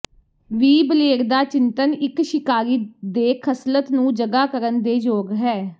ਵੀ blade ਦਾ ਚਿੰਤਨ ਇੱਕ ਸ਼ਿਕਾਰੀ ਦੇ ਖਸਲਤ ਨੂੰ ਜਗਾ ਕਰਨ ਦੇ ਯੋਗ ਹੈ